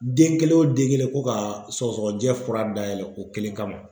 Den kelen o den kelen ko ka sɔgɔsɔgɔnijɛ fura dayɛlɛ o kelen kama.